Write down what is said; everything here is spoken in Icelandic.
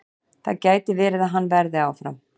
Það gæti verið að hann verði áfram.